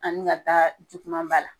An mi ka taa juman ba la.